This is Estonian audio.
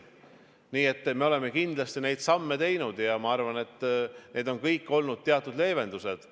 Nii et me oleme kindlasti neid samme teinud ja ma arvan, et need on kõik olnud teatud leevendused.